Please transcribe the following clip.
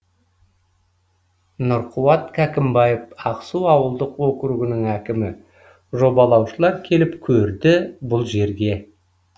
нұрқуат кәкімбаев ақсу ауылдық округінің әкімі жобалаушылар келіп көрді бұл жерге